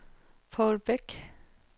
Paul Bech